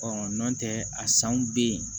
nɔntɛ a sanw bɛ yen